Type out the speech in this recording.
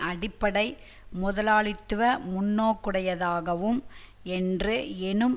அடிப்படை முதலாளித்துவ முன்னோக்குடையதாகும் என்று எனும்